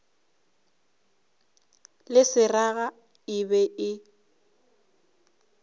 le seraga e be e